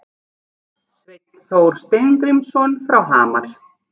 Sveinn Þór Steingrímsson frá Hamar